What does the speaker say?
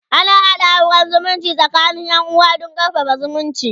ana haɗa auran zumunci tsakanin Yan uwa Dan karfafa zumunci